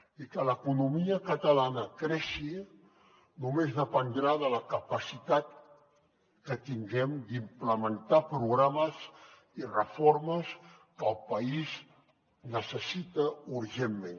i que l’economia catalana creixi només dependrà de la capacitat que tinguem d’implementar programes i reformes que el país necessita urgentment